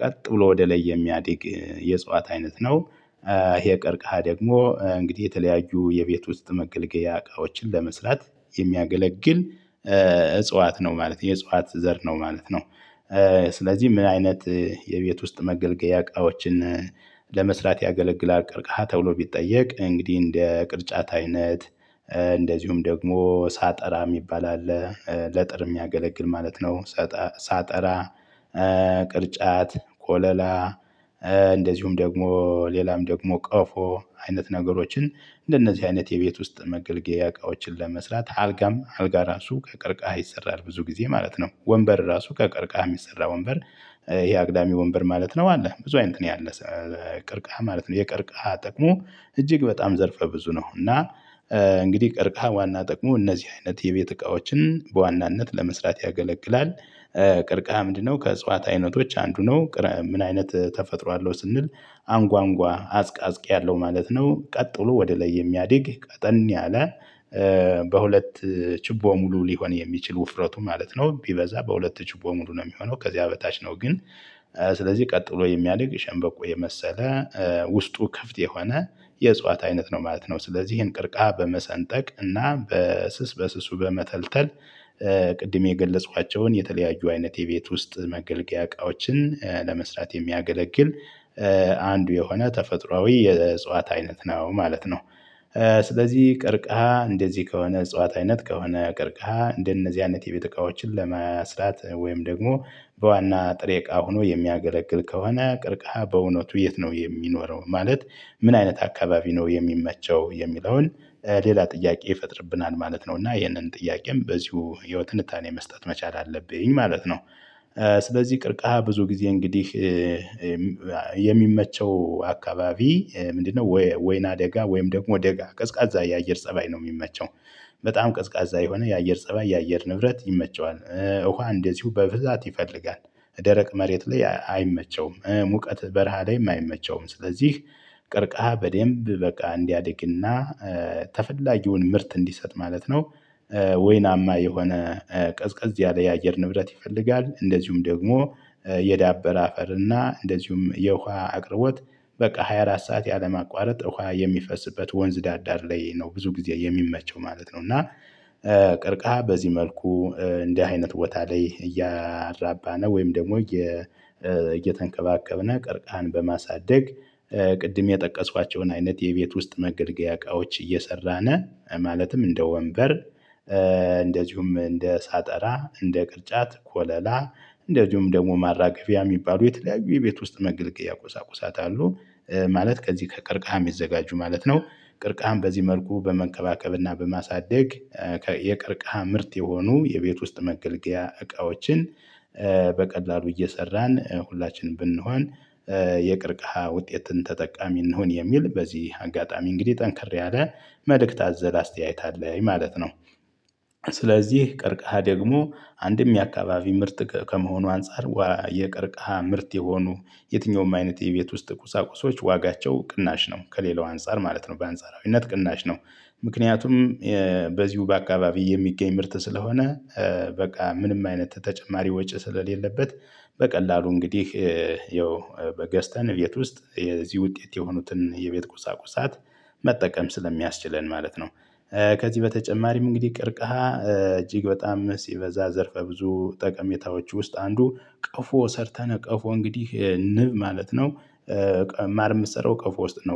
ቀጥ ብሎ ወደ ላይ የሚያድግ የእጽዋት አይነት ነው። ይሄ ቀርቀሃ ደግሞ እንግዲህ የተለያዩ የቤት ውስጥ መገልገያ እቃዎችን ለመስራት የሚያገለግል እጽዋት ነው ማለት ነው የእጽዋት ዘር ነው ማለት ነው። ስለዚህ ምን አይነት የቤት ውስጥ መገልገያ እቃዎችን ለመስራት ያገለግል ቅርቃሃ ተብሎ ቢጠየቅ እንግዲህ እንደ ቅርጫት አይነት እንደዚሁም ደግሞ ሳጠራ የሚባል አለ ለጥር የሚያገለግል ማለት ነው። ሳጠራ ቅርጫት ኮለላ። እንደዚሁም ደግሞ ሌላም ደግሞ ቀፎ አይነት ነገሮችን እንደነዚህ አይነት የቤት ውስጥ መገልገያ እቃዎችን ለመስራት አልጋም አልጋ ራሱ ከቅርቃሃ ይሰራል። ብዙ ጊዜ ማለት ነው ወንበር ራሱ ከቀርቃሃ የሚሰራ ወንበር። ይሄ አግዳሚ ወንበር ማለት ነው አለ ብዙ አይነት ያለው ቅርቃሃ ማለት ነው የቅርቃሃ ጥቅሙ እጅግ በጣም ዘርፈ ብዙ ነው። እና እንግዲህ ቀርቃሃ ዋና ጥቅሙ እነዚህ አይነት የቤት እቃዎችን በዋናነት ለመስራት ያገለግላል። ቀርቃሃ ምንድነው ከእጽዋት አይነቶች አንዱ ነው ምን አይነት ተፈጥሮ አለው ስንል? አንጓንጓ አጽቃጽቂ ያለው ማለት ነው። ቀጥ ብሎ ወደ ላይ የሚያድግ ቀጠን ያለ። በሁለት ችቦ ሙሉ ሊሆን የሚችል ውፍረቱ ማለት ነው ቢበዛ በሁለት ጭቦ ሙሉ ነው የሚሆነው ከዚያ በታች ነው ግን። ስለዚህ ቀጥሎ የሚያድግ ሸንበቆ የመሰለ ውስጡ ክፍት የሆነ የእጽዋት አይነት ነው ማለት ነው። ስለዚህ ይሄን ቅርከሃ በመሰንጠቅ እና በስስ በስሱ በመተልተል። ቅድም የገለጽኋቸውን የተለያዩ አይነት የቤት ውስጥ መገልገያ እቃዎችን ለመስራት የሚያገለግል አንዱ የሆነ ተፈጥሮአዊ የእጽዋት አይነት ነው ማለት ነው። ስለዚህ ቅርቃሃ እንደዚህ ከሆነ እጽዋት አይነት ከሆነ ቅርቃ እንደነዚህ አይነት የቤተ እቃዎችን ለመስራት ወይም ደግሞ በዋና ጥሬ እቃ ሆኖ የሚያገለግል ከሆነ ቅርቃሃ በእውነቱ የት ነው የሚኖረው ማለት? ምን አይነት አካባቢ ነው የሚመቸው የሚለውን ሌላ ጥያቄ ይፈጥርብናል ማለት ነው። እና ይህንን ጥያቄም በዚሁ ህይወት እንታኔ መስጠት መቻል አለብኝ ማለት ነው። ስለዚህ ቅርቃሃ ብዙ ጊዜ እንግዲህ የሚመቸው አካባቢ ምንድነው? ወይና ደጋ ወይም ደግሞ ደጋ ቀዝቃዛ የአየር ፀባይ ነው የሚመቸው። በጣም ቀዝቃዛ የሆነ የአየር ፀባይ የአየር ንብረት ይመቸዋል። ውሃ እንደዚሁ በብዛት ይፈልጋል። ደረቅ መሬት ላይ አይመቸውም ሙቀት በረሃ ላይም አይመቸውም ስለዚህ ቅርቃሃ በደንብ በቃ እንዲያድግና ተፈላጊውን ምርት እንዲሰጥ ማለት ነው። ወይናማ የሆነ ቀዝቀዝ ያለ የአየር ንብረት ይፈልጋል። እንደዚሁም ደግሞ የዳበር አፈር እና እንደዚሁም የውሃ አቅርቦት በቃ ሃያ አራት ሰዓት ያለማቋረጥ ውሃ የሚፈስበት ወንዝ ዳርዳር ላይ ነው ብዙ ጊዜ የሚመቸው ማለት ነው። እና ቅርቃሃ በዚህ መልኩ እንዲህ አይነት ቦታ ላይ እያራባ ነው ወይም ደግሞ። እየተንከባከብነው ቀርቃሃን በማሳደግ ቅድም የጠቀሷቸውን አይነት የቤት ውስጥ መገልገያ እቃዎች እየሰራነ ማለትም እንደ ወንበር። እንደዚሁም እንደ ሳጠራ እንደ ቅርጫት ኮለላ እንደዚሁም ደግሞ ማራገፊያ የሚባሉ የተለያዩ የቤት ውስጥ መገልገያ ቁሳቁሳት አሉ። ማለት ከዚህ ከቀርቃሃ የምዘጋጁ ማለት ነው። ቅርቃሃም በዚህ መልኩ በመከባከብና በማሳደግ። የቅርቀሀ ምርት የሆኑ የቤት ውስጥ መገልገያ እቃዎችን በቀላሉ እየሰራን ሁላችንም ብንሆን የቅርቅሃ ውጤትን ተጠቃሚ እንሁን የሚል በዚህ አጋጣሚ እንግዲህ ጠንክሬ አለ መልእክት አዘለ አስተያየት አለኝ ማለት ነው። ስለዚህ ቀርቀሃ ደግሞ አንድም የአካባቢ ምርጥ ከመሆኑ አንፃር የቀርቃሃ ምርት የሆኑ የትኛውም አይነት የቤት ውስጥ ቁሳቁሶች ዋጋቸው ቅናሽ ነው ከሌላው አንፃር ማለት ነው በአንጻራዊነት ቅናሽ ነው። ምክንያቱም በዚሁ በአካባቢ የሚገኝ ምርት ስለሆነ። በቃ ምንም አይነት ተጨማሪ ወጪ ስለሌለበት። በቀላሉ እንግዲህ ያው በገዝተን ቤት ውስጥ የዚህ ውጤት የሆኑትን የቤት ቁሳቁሳት መጠቀም ስለሚያስችለን ማለት ነው። ከዚህ በተጨማሪም እንግዲህ ቅርቃሃ እጅግ በጣም ሲበዛ ዘርፈ ብዙ ጠቀሜታዎች ውስጥ አንዱ ቀፎ ሰርተን ቀፎ እንግዲህ ንብ ማለት ነው። ማር የምትሰራው ቀፎ ውስጥ ነው